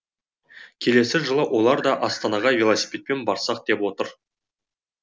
келесі жылы олар да астанаға велосипедпен барсақ деп отыр